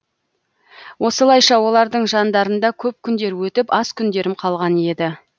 осылайша олардың жандарында көп күндер өтіп аз күндерім қалған еді